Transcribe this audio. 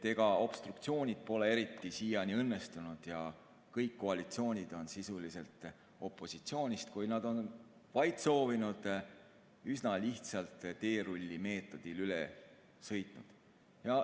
Ega obstruktsioonid pole siiani eriti õnnestunud ja kõik koalitsioonid on opositsioonist, kui nad on vaid seda soovinud, sisuliselt üsna lihtsalt teerullimeetodil üle sõitnud.